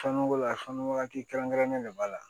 Fɛnnogo la sanuya waati kɛrɛnkɛrɛnnen de b'a la